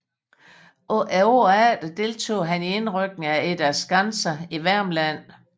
Året efter deltog han i indrykningen til Eda Skanse i Værmland